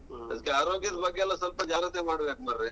ಅದಕ್ಕೆ ಆರೋಗ್ಯದ ಬಗ್ಗೆ ಎಲ್ಲ ಸ್ವಲ್ಪ ಜಾಗ್ರತೆ ಮಾಡ್ಬೇಕ್ ಮರ್ರೆ.